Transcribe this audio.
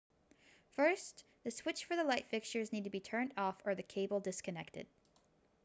first the switch for the light fixture needs to be turned off or the cable disconnected